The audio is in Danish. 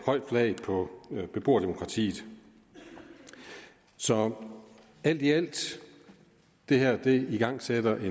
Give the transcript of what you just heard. højt flag på beboerdemokratiet så alt i alt igangsætter det